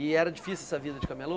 E era difícil essa vida de camelô?